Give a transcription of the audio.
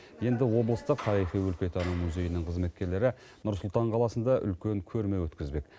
енді облыстық тарихи өлкетану музейінің қызметкерлері нұр сұлтан қаласында үлкен көрме өткізбек